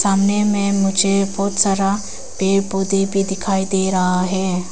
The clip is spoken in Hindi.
सामने में मुझे बहुत सारा पेड़ पौधे भी दिखाई दे रहा है।